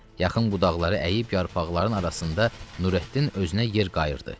Yaxın budaqları əyib yarpaqların arasında Nurəddin özünə yer qayırdı.